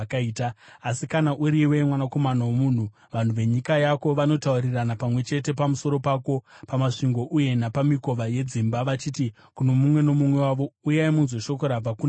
“Asi kana uriwe, mwanakomana womunhu, vanhu venyika yako vanotaurirana pamwe chete pamusoro pako pamasvingo uye napamikova yedzimba, vachiti kuno mumwe nomumwe wavo, ‘Uyai munzwe shoko rabva kuna Jehovha.’